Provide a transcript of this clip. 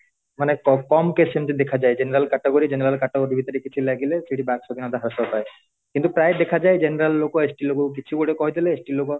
ମାନେ କମ case ରେ ସେମିତି ଦେଖାଯାଏ general category general category ଭିତରେ କିଛି ଲାଗିଲେ ସେଇଠି ବାକ୍ ସ୍ଵାଧୀନତା ହ୍ରାସ ପାଏ କିନ୍ତୁ ପ୍ରାଏ ଦେଖାଯାଏ general ଲୋକ ST ଲୋକକୁ କିଛି ଗୋଟେ କହିଦେଲେ ST ଲୋକ